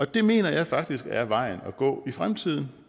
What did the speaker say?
det mener jeg faktisk er vejen at gå i fremtiden